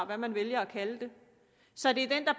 hvad man vælger at kalde det så det er den der